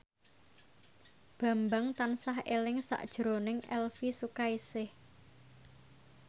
Bambang tansah eling sakjroning Elvy Sukaesih